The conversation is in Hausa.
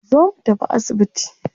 Zo mu tafi asibiti